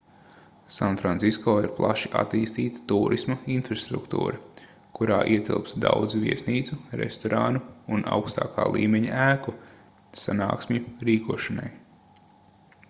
sanfrancisko ir plaši attīstīta tūrisma infrastruktūra kurā ietilpst daudz viesnīcu restorānu un augstākā līmeņa ēku sanāksmju rīkošanai